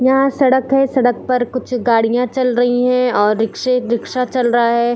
यहाँ सड़क है सड़क पर कुछ गाड़ियां चल रही है और रिक्शे रिक्शा चल रहा है।